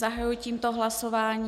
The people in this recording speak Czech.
Zahajuji tímto hlasování.